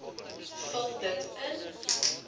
vul dit in